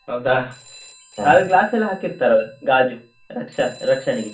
ಹೌದಾ, ಅದು glass ಎಲ್ಲ ಹಾಕಿರ್ತರಲ್ಲ ಗಾಜು ರಕ್ಷಾ ರಕ್ಷಣೆಗೆ.